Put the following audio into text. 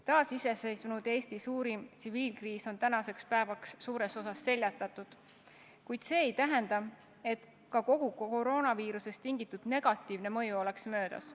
Taasiseseisvunud Eesti suurim tsiviilkriis on tänaseks päevaks suures osas seljatatud, kuid see ei tähenda, et ka kogu koroonaviirusest tulenenud negatiivne mõju oleks möödas.